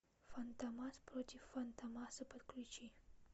фантомас против фантомаса подключи